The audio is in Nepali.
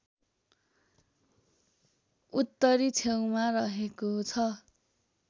उत्तरी छेउमा रहेको छ